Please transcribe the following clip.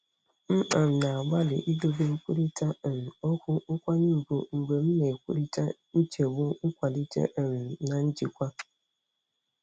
M um na-agbalị idobe nkwurịta um okwu nkwanye ùgwù mgbe m na-ekwurịta nchegbu nkwalite um na njikwa.